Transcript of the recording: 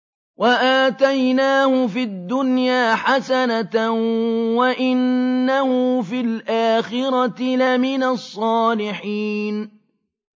وَآتَيْنَاهُ فِي الدُّنْيَا حَسَنَةً ۖ وَإِنَّهُ فِي الْآخِرَةِ لَمِنَ الصَّالِحِينَ